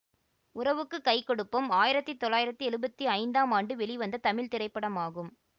உறவுக்கு கை கொடுப்போம் ஆயிரத்தி தொள்ளாயிரத்தி எழுவத்தி ஐந்தாம் ஆண்டு வெளிவந்த தமிழ் திரைப்படமாகும்